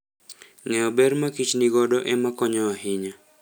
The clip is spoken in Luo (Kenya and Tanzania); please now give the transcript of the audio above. Ng'eyo ber makich nigodo ema konyo ahinya.